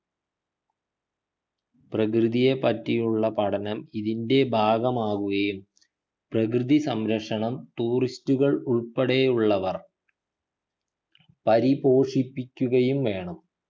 പ്രകൃതിയെപ്പറ്റിയുള്ള പഠനം ഇതിൻ്റെ ഭാഗമാവുകയും പ്രകൃതി സംരക്ഷണം tourist കൾ ഉൾപ്പെടെയുള്ളവർ പരിപോഷിപ്പിക്കുകയും വേണം